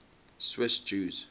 swiss jews